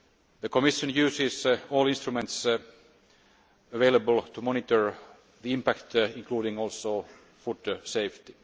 The Commission uses all instruments available to monitor the impact, including on future safety.